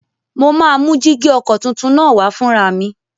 Mo máa mú jígí ọkọ̀ tuntun náà wá fúnra mi